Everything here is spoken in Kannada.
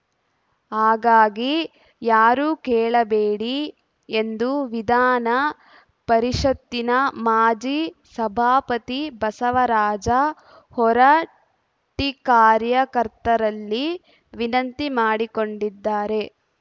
ಹಾಗಾಗಿ ಯಾರೂ ಕೇಳಬೇಡಿ ಎಂದು ವಿಧಾನ ಪರಿಷತ್ತಿನ ಮಾಜಿ ಸಭಾಪತಿ ಬಸವರಾಜ ಹೊರಟ್ಟಿಕಾರ್ಯಕರ್ತರಲ್ಲಿ ವಿನಂತಿ ಮಾಡಿಕೊಂಡಿದ್ದಾರೆ